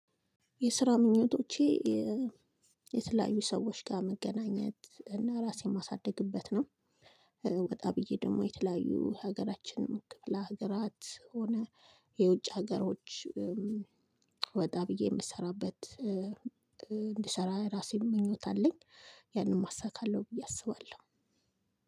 የስራ ምኞቶቼ የተለያዩ ሰዎች ጋር መገናኘት እና ራሴን ማሳድግበት ነው። ወጣ ብዬ ደግሞ የተለያዩ የሀገራችንን ክፍለሀገራት ሆነ የውጭ ሀገሮች ወጣ ብዬ የምሰራበት እንድሰራ ራሴም ምኞት አለኝ። ያንንም አሳካለሁ ብዬ አስባለሁ።